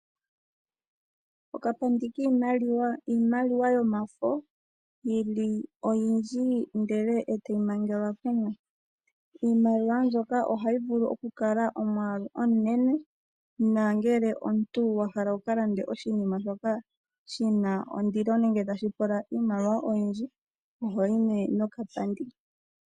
Okapandi kiimaliwa iimaliwa yomafo yili oyindji ee tayi mangelwa kumwe. Iimaliwa mbyono ohayi vulu okukala omwalu omunenen nangele omuntu wahala wuka lande oshinima shoka shina ondilo nenge tashi pula iimaliwa oyindji ohoyi nduno nokapandi.